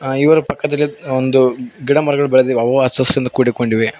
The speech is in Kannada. ಐವರು ಪಕ್ಕದಲ್ಲಿ ಒಂದು ಗಿಡಮರಗಳು ಬೆಳೆದಿವೆ ಅವು ಅಚ್ಚ ಹಸಿಂದ ಕೂಡಿಕೊಂಡಿವೆ.